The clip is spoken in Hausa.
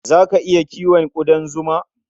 Za ka iya kiwon ƙudan zima?